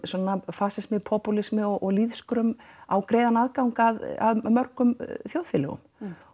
fasismi popúlismi og lýðskrum á greiðan aðgang að mörgum þjóðfélögum